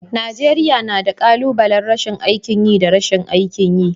Najeriya na da. kalubalen rashin aikin yi da rashin aikin yi.